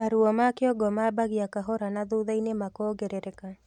Maruo ma kĩongo mambagia kahora na thutha-ini makongerereka